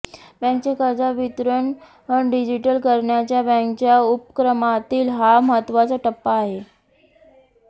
बॅंकेचे कर्जवितरण डिजिटल करण्याच्या बॅंकेच्या उपक्रमातील हा महत्त्वाचा टप्पा आहे